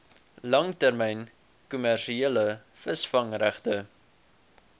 langtermyn kommersiële visvangregte